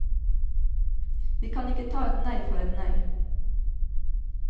Vi kan ikke ta et nei for et nei.